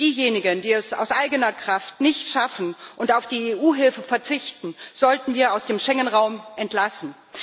Diejenigen, die es aus eigener Kraft nicht schaffen und auf die EU Hilfe verzichten, sollten wir aus dem Schengen Raum entlassen.